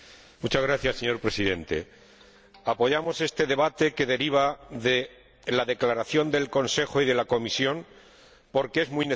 Señor Presidente, apoyamos este debate, que deriva de la declaración del Consejo y de la Comisión, porque es muy necesario.